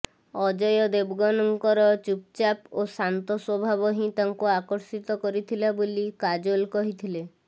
ଅଜୟ ଦେବଗନଙ୍କର ଚୁପ୍ଚାପ୍ ଓ ଶାନ୍ତ ସ୍ୱଭାବ ହିଁ ତାଙ୍କୁ ଆକର୍ଷିତ କରିଥିଲା ବୋଲି କାଜୋଲ୍ କହିଥିଲେ